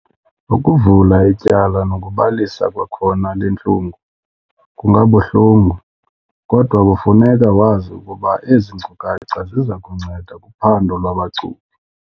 Ukuvula ityala nokubalisa kwakhona le ntlungu kungabuhlungu, kodwa kufuneka wazi ukuba ezi nkcukacha ziza kunceda kuphando lwabacuphi.